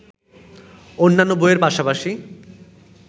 অন্যান্য বইয়ের পাশাপাশি